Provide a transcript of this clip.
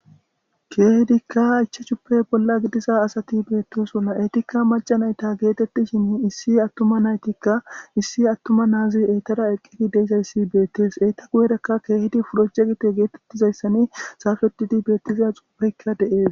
Keehidikka achche cuppey bolla gidiza asati beettosona etikka macanayta geetettishin issi attuma naytikka issi attuma naazi eytara eqqidi deeizayssi beettees eyta guyerakka keehidi puroce gite geetettizayssani saafedidi beettiza xuufeykka de7ees.